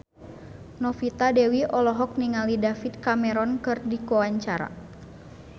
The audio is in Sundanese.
Novita Dewi olohok ningali David Cameron keur diwawancara